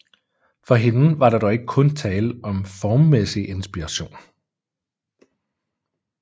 For hende var der dog ikke kun tale om formmæssig inspiration